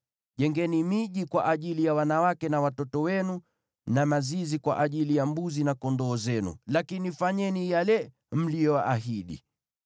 Jengeni miji kwa ajili ya wanawake na watoto wenu, na mazizi kwa ajili ya mbuzi na kondoo zenu, lakini fanyeni yale mliyoahidi.”